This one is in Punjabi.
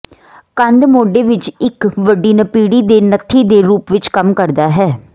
ਕੰਧ ਮੋਢੇ ਵਿੱਚ ਇੱਕ ਵੱਡੀ ਨਪੀੜੀ ਦੇ ਨੱਥੀ ਦੇ ਰੂਪ ਵਿੱਚ ਕੰਮ ਕਰਦਾ ਹੈ